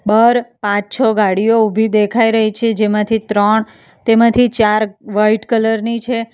બહાર પાંચ છ ગાડીઓ ઉભી દેખાઈ રહી છે જેમાંથી ત્રણ તેમાંથી ચાર વાઈટ કલર ની છે.